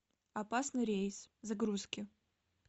опасный рейс загрузки